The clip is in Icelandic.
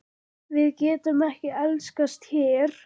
Við getum ekki elskast hér.